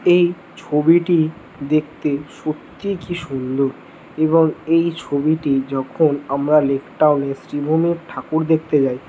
এই ছবিটি দেখতে সত্যিই কি সুন্দর এবং এই ছবিটি যখন আমরা লেকটাউন শ্রীভূমি ঠাকুর দেখতে যাই।